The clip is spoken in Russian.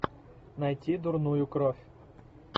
найти дурную кровь